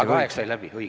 Aga aeg sai läbi, õige.